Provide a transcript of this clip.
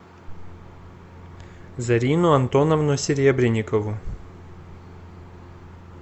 зарину антоновну серебренникову